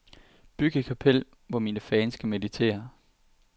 Byg et kapel, hvor mine fans kan meditere.